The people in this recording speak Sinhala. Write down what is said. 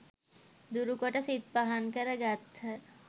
දුරු කොට සිත් පහන් කර ගත්හ.